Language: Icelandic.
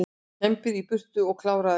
Kembdir í burtu og kláraðir